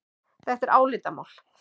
Þetta er álitamál.